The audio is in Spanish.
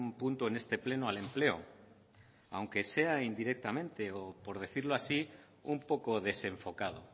punto en este pleno al empleo aunque sea indirectamente o por decirlo así un poco desenfocado